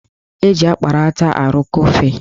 Eji akparata arụkọ ofe